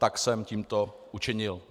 To jsem tímto učinil.